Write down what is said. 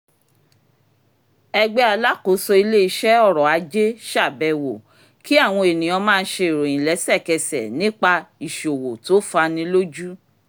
ẹgbẹ́ alákóso ilé-iṣẹ́ ọ̀rọ̀ ajé ṣàbẹwò kí àwọn ènìyàn máa ṣe ìròyìn lẹ́sẹ̀kẹsẹ̀ nípa ìṣòwò tó fani lójú